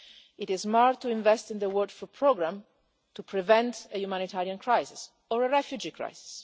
It is smart to invest in the World Food Programme to prevent a humanitarian crisis or a refugee crisis.